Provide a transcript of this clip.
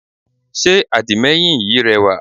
Sé àdìmẹ́yìn yí rẹwà?